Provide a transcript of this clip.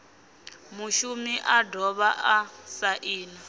mushumi a dovha a saina